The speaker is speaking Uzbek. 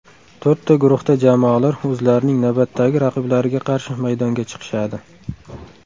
To‘rtta guruhda jamoalar o‘zlarining navbatdagi raqiblariga qarshi maydonga chiqishadi.